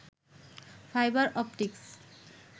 fibre optics